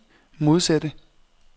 modsatte